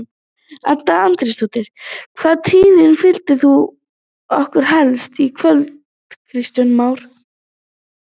Edda Andrésdóttir: Hvaða tíðindi flytur þú okkur helst í kvöld Kristján Már?